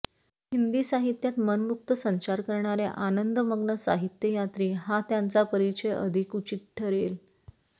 हिंदी साहित्यात मनमुक्त संचार करणार्या आनंदमग्न साहित्ययात्री हा त्यांचा परिचय अधिक उचित ठरेल